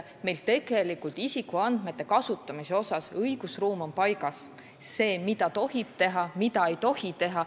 Meil on tegelikult isikuandmete kasutamise õigusruum paigas, on selge, mida tohib teha ja mida ei tohi teha.